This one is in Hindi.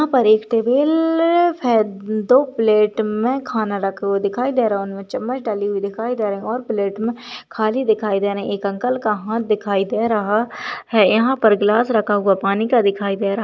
यहाँ पर एक टेबल फे दो प्लेट मे खाना रखा हुए दिखाई दे रहा उनमे चम्मच डली हुई दिखाई दे रही और प्लेट मे खाली दिखाई दे रहा एक अंकल का हाथ दिखाई दे रहा है यहाँ पर ग्लास रखा हुआ पानी का दिखाई दे रहा--